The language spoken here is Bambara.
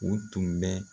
U tun bɛ